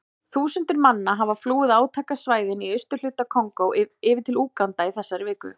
Þúsundir manna hafa flúið átakasvæðin í austurhluta Kongó yfir til Úganda í þessari viku.